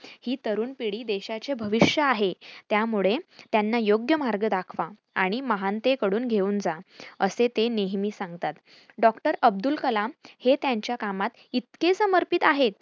ही तरूण पिढी देशाचे भविष्य आहे. त्यामुळे त्यांना योग्य मार्ग दाखवा आणि महानतेकडे घेऊन जा, असे ते नेहमी सांगतात. डॉ. अब्दुल कलाम हे त्यांच्या कामात इतके समर्पित आहेत.